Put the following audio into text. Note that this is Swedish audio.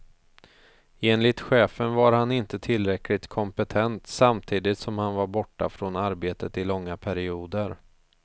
Enligt chefen var han inte tillräckligt kompetent samtidigt som han var borta från arbetet i långa perioder.